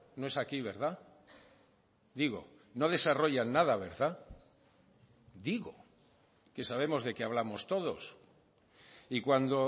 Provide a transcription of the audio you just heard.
no es aquí verdad digo no desarrollan nada verdad digo que sabemos de qué hablamos todos y cuando